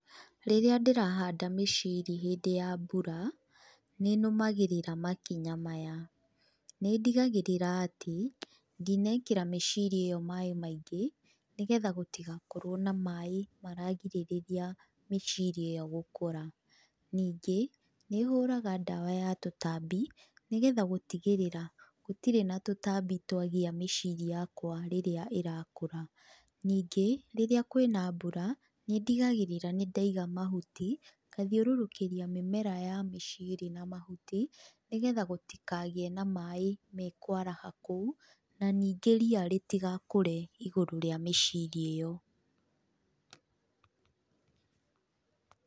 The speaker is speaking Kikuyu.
Rĩrĩa ndĩrahanda mĩciri hĩndĩ ya mbura, nĩnũmagĩrĩra makinya maya, nĩndigagĩrĩra atĩ, ndinekĩra mĩciri ĩyo maĩ maingĩ, nĩgetha gũtigakorwo na maĩ maragirĩrĩria mĩciri ĩyo gũkũra, nĩngĩ, nĩ hũraga ndawa ya tũtambi nĩgetha gũtigĩrĩra gũtirĩ na tũtambi twagĩa mĩciri yakwa rĩrĩa ĩrakũra, ningĩ, rĩrĩa kwĩna mbura, nĩndigagĩrĩra nĩndaiga mahuti, ngathiũrũrũkĩria mĩmera ya mĩciri na mahuti, nĩgetha gũtikagĩe na maĩ mekwaraha kũu, na ningĩ ria rĩtigakũre igũrũ rĩa mĩciri ĩyo.